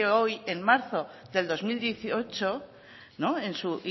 hoy en marzo del dos mil dieciocho no en su